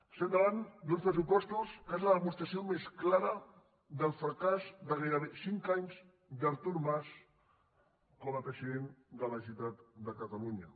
estem davant d’uns pressupostos que són la demostració més clara del fracàs de gairebé cinc anys d’artur mas com a president de la generalitat de catalunya